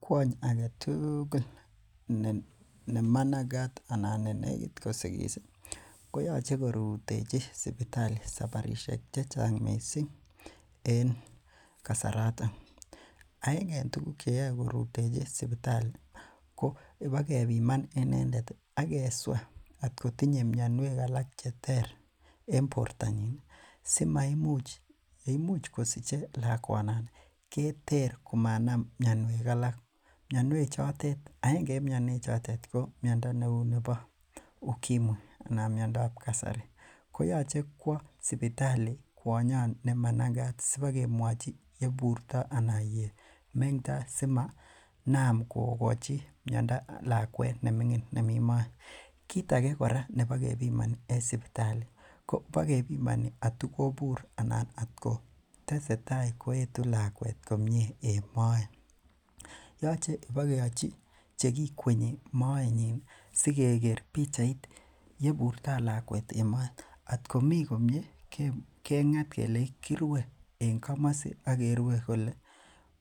Kiony ne managat anan nenegit kosigis koyache korutechi sipitalit en sabarisiek checheng kotomo kosigis. Aenge en tuguk cheyoe korutechi sipitalit ko ipakebiman inendet akesua atkotinye mianiuek alak cheter en bortanyin simaimuch, yesich lakuet ih keter komanam mianiuek alak . Agenge en mianiuek chotet ko miando neuu nebo ukimwi anan neuu nebo kasari. Koyache koaa sipitali kunyon nemagaat sibagemuaji yeburto anan sipakemuaji yemeng'to simonaam kogochin lakuet neming'in en moet. Kit age nebo gebimani en sipitali ko , kibagepimani atikobur komie lakuet en moet yoo tesetai koetu lakuet komie. En moet.. yoche ipakeachi chekikienyi moenyin ih asigeger pichait yeburto lakuet en moet. Atkomi komie keng'at kelii kirue kouu ni en komasi akerue kole